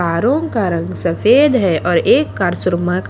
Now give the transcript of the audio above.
R O का रंग सफेद है और एक कार --